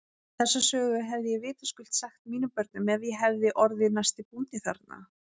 Þessa sögu hefði ég vitaskuld sagt mínum börnum ef ég hefði orðið næsti bóndi þarna.